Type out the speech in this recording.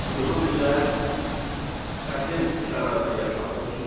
Siz uzun illər çətin şəraitdə yaşamısınız.